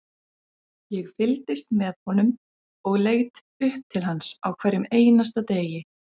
Ég fylgdist með honum og leit upp til hans á hverjum einasta degi,